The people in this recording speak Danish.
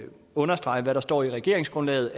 understrege hvad der står i regeringsgrundlaget